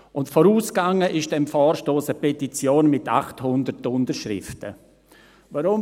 Und dem Vorstoss ging eine Petition mit 800 Unterschriften voraus.